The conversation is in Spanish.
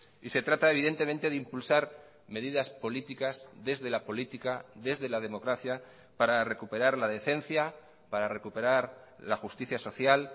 y se trata evidentemente de impulsar medidas políticas desde la política desde la democracia para recuperar la decencia para recuperar la justicia social